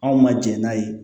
Anw ma jɛn n'a ye